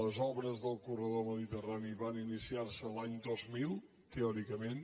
les obres del corredor mediterrani van iniciar se l’any dos mil teòricament